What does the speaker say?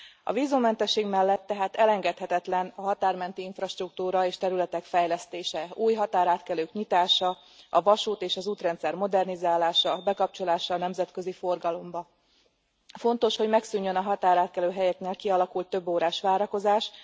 A vízummentesség mellett tehát elengedhetetlen a határmenti infrastruktúra és területek fejlesztése, új határátkelők nyitása, a vasút és az útrendszer modernizálása, bekapcsolása a nemzetközi forgalomba. Fontos, hogy megszűnjön a határátkelőhelyeknél kialakult több órás várakozás.